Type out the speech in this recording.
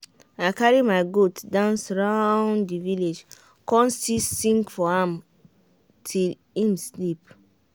i carry my goat dance round the village come still sing for am till him sleep.